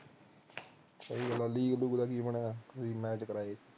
ਸਹੀ ਗੱਲ ਐ ਮੈਚ ਕਰਾਏ